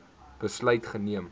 besluit geneem